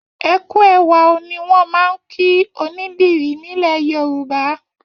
Ẹ kú ẹwà ó ni wọ́n máa ń kí onídìrí nílẹ̀ Yorùbá.